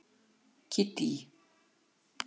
Kiddý